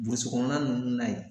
kɔnɔna nunnu na yen.